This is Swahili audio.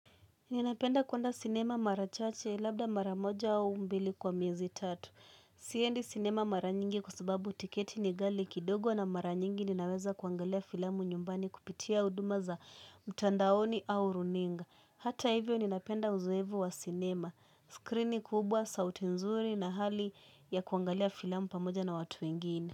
Ninapenda kuenda cinema mara chache labda mara moja au mbili kwa miezi tatu Siendi cinema mara nyingi kwa sababu tiketi ni gali kidogo na mara nyingi ninaweza kuangalia filamu nyumbani kupitia uduma za mtandaoni au runinga Hata hivyo ninapenda uzoevu wa cinema, skrini kubwa, sauti nzuri na hali ya kuangalia filamu pamoja na watu wengine.